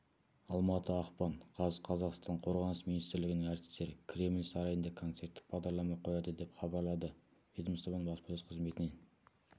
алматы ақпан қаз қазақстан қорғаныс министрлігінің әртістері кремль сарайында концерттік бағдарлама қояды деп хабарлады ведомствоның баспасөз қызметінен